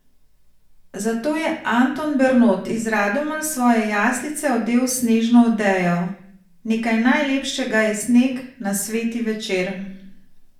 Zato je Anton Bernot iz Radomelj svoje jaslice odel s snežno odejo: "Nekaj najlepšega je sneg na Sveti večer...